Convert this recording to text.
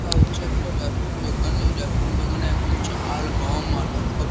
এটা হচ্ছে একটা রেশন দোকান। এই রেশন দোকানে এখন চাল গম আটা সব --